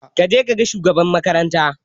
Ka je ka ga shugaban makaranta!